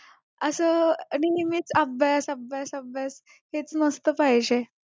अस नेहमीच अभ्यास अभ्यास अभ्यास हेच नसतं पाहिजे